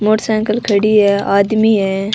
Motor cycle खड़ी है आदमी है।